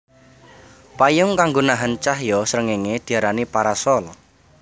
Payung kanggo nahan cahya srengéngé diarani parasol